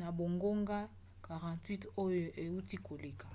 na bangonga 48 oyo euti koleka